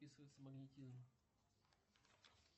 описывается магнетизм